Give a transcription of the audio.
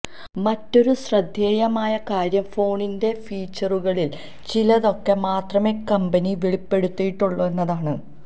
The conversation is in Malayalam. മറ്റൊരു ശ്രദ്ധേയമായ കാര്യം ഫോണിന്റെ ഫീച്ചറുകളില് ചിലതൊക്കെ മാത്രമേ കമ്പനി വെളിപ്പെടുത്തിയിട്ടുള്ളു എന്നതാണ്